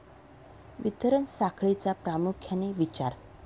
वितरण साखळीचा प्रामुख्याने विचार